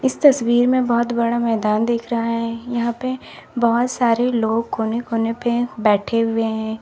इस तस्वीर में बहुत बड़ा मैदान देख रहा है यहां पे बहुत सारे लोग कोने कोने पे बैठे हुए हैं।